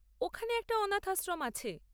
ওখানে একটা অনাথ আশ্রম আছে।